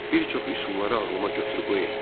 Bir çox üsulları ağlıma götürüb-qoy etdim.